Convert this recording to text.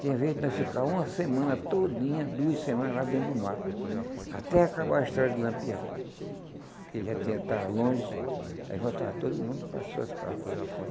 Tinha vez de nós ficar uma semana todinha, duas semanas lá dentro do mato, até acabar a história de Lampião, que ele já tinha estava longe, aí voltava todo mundo para as suas casas.